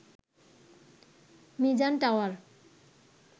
Mizan tower